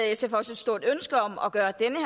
sf også et stort ønske om at gøre denne